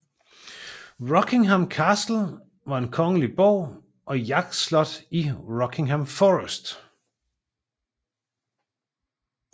Rockingham Castle var en kongelig borg og jagtslot i Rockingham Forest